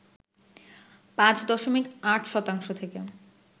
৫ দশমিক ৮ শতাংশ থেকে